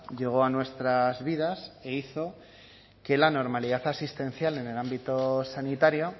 llegó a nuestras vidas e hizo que la normalidad asistencial en el ámbito sanitario